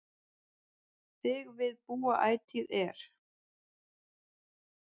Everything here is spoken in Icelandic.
Þig við búa ætíð er